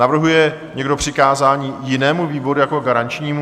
Navrhuje někdo přikázání jinému výboru jako garančnímu?